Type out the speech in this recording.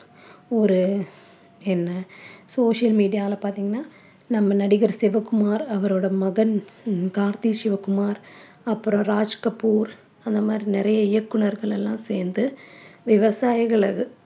ஒரு என்ன social media ல பார்த்தீங்கன்னா நம்ம நடிகர் சிவகுமார் அவரோட மகன் கார்த்தி சிவகுமார் அப்புறம் ராஜ்கப்பூர் அந்த மாதிரி நிறைய இயக்குனர்கள் எல்லாம் சேர்ந்து விவசாயிகள